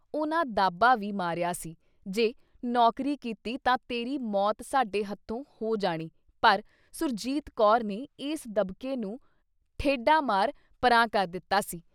ਉਨ੍ਹਾਂ ਦਾਬਾ ਵੀ ਮਾਰਿਆ ਸੀ ਜੇ ਨੌਕਰੀ ਕੀਤੀ ਤਾਂ ਤੇਰੀ ਮੌਤ ਸਾਡੇ ਹੱਥੋਂ ਹੋ ਜਾਣੀ ਪਰ ਸੁਰਜੀਤ ਕੌਰ ਨੇ ਇਸ ਦਬਕੇ ਨੂੰ ਠੇਢਾ ਮਾਰ, ਪਰ੍ਹਾਂ ਕਰ ਦਿੱਤਾ ਸੀ ।